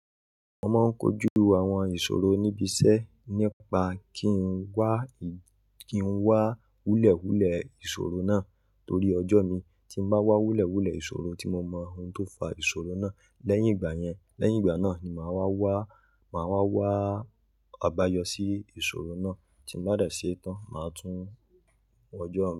Mo máa ń kojú àwọn ìṣòro níbi iṣẹ́ nípa kí n wá, kí n wá wúlẹ̀wúlẹ̀ ìṣòro náà torí ọjọ́ mi tí máa wá wúlẹ̀wúlẹ̀ ìṣòro tí mo mọ ohun tó fa ìṣòro náà. Lẹ́yìn ìgbà yẹn, lẹ́yìn ìgbà náà ni màá wá wá, màá wá wá àbáyọ sí ìṣòro náà tí ń bá dẹ̀ sí i tán, màá tún un wọjọ́ mi.